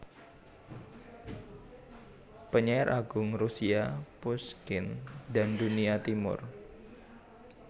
Penyair Agung Rusia Pushkin dan Dunia Timur